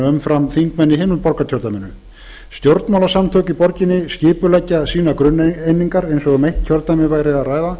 umfram þingmenn í hinu borgarkjördæminu stjórnmálasamtök í borginni skipuleggja grunneiningar sínar eins og um eitt kjördæmi væri